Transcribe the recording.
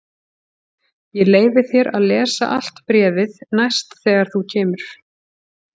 Ég leyfi þér að lesa allt bréfið næst þegar þú kemur.